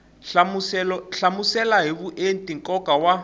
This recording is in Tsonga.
hlamusela hi vuenti nkoka wa